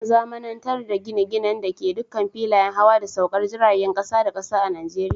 An zamanantar da gine-ginen da ke dukkan filayen hawa da saukar jirajen kasa da kasa a Najeriya.